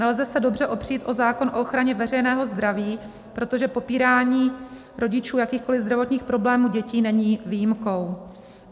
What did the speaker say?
Nelze se dobře opřít o zákon o ochraně veřejného zdraví, protože popírání rodičů jakýchkoliv zdravotních problémů dětí není výjimkou.